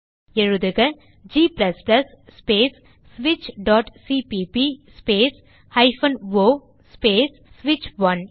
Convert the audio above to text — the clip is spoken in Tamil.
எழுதுக160 g ஸ்பேஸ் switchசிபிபி ஸ்பேஸ் o ஸ்பேஸ் ஸ்விட்ச்1